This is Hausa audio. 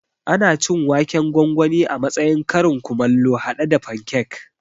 Ana cin waken gwangwani a matsayin karin kumallo haɗe da fankek